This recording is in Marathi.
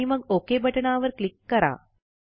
आणि मग ओक बटणावर क्लिक करा